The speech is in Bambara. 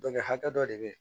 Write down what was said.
Dɔnku hakɛ dɔ de bɛ